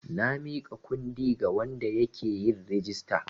Na miƙa kundi ga wanda yake yin rijista.